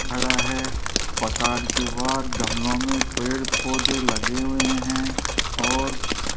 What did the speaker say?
खड़ा है मकान के बाहर गमलों मे पेड़ पौधे लगे हुए है और --